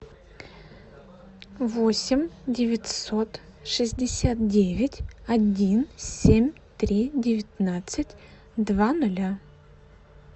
восемь девятьсот шестьдесят девять один семь три девятнадцать два ноля